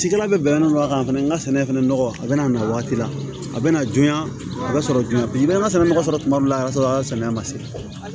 Cikɛla bɛ bɛnnen don a kan fana n ka sɛnɛ fana nɔgɔ a bɛ na waati la a bɛ na joona a bɛ sɔrɔ joona bi n'a sɔrɔ nɔgɔ sɔrɔ tuma dɔw la samiya man se